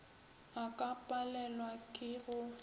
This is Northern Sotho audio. a ka palelwa ke go